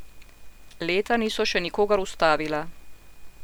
Leta niso še nikogar ustavila.